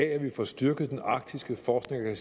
at vi får styrket den arktiske forskning